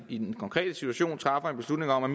i den konkrete situation træffer en beslutning om at